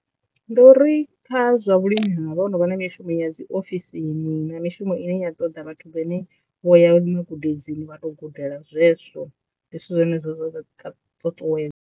Ndi uri kha zwa vhulimi havha ho no vha na mishumo ya dzi ofisini na mishumo ine ya ṱoḓa vhathu vhane vho ya lima gudedzini vha to gudela zwezwo ndi zwithu zwine zwa dza ṱuṱuwedza.